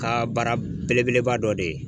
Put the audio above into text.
ka baara belebeleba dɔ de ye.